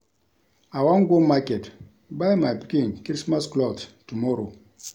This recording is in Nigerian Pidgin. I wan go market buy my pikin Christmas cloth tomorrow